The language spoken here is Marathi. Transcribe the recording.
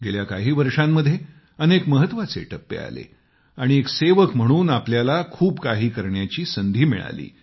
गेल्या काही वर्षांमध्ये अनेक महत्वाचे टप्पे आले आणि एक सेवक म्हणून आपल्याला खूप काही करण्याची संधी मिळाली